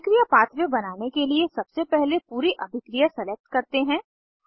अभिक्रिया पाथवे बनाने के लिए सबसे पहले पूरी अभिक्रिया सलेक्ट करते हैं